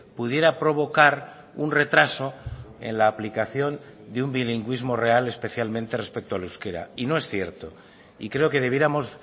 pudiera provocar un retraso en la aplicación de un bilingüismo real especialmente respecto al euskera y no es cierto y creo que debiéramos